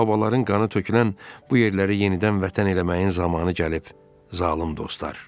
Babaların qanı tökülən bu yerləri yenidən Vətən eləməyin zamanı gəlib, zalım dostlar.